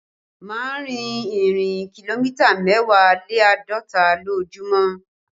Má rìn ìrìn kìlómítà mẹ́wàá lé àádọ́ta lójúmọ́